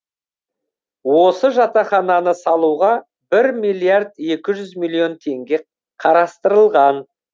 осы жатақхананы салуға бір миллиард екі жүз миллион теңге қарастырылған